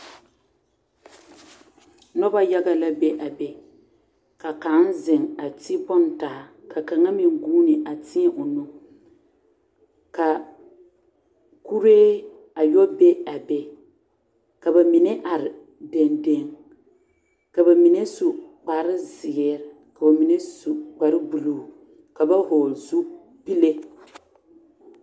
Noba yaga la be a be ka kaŋ ziŋ a ti bon taa ka kaŋa meŋ vuunea teɛ o nu ka kuree a yɔ be a be ka ba mine are deŋdeŋ ka ba mine su kpare zēēre ka ba mine su kpare buluu ka ba vɔgl zupile.